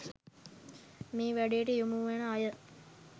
මේ වැඩේ‍ට යොමුවෙන අය.